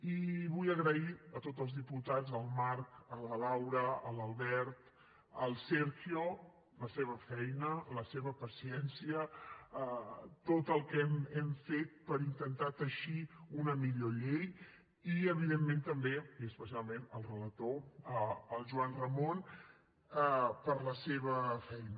i vull agrair a tots els diputats al marc a la laura a l’albert al sergio la seva feina la seva paciència tot el que hem fet per intentar teixir una millor llei i evidentment també i especialment al relator al joan ramon per la seva feina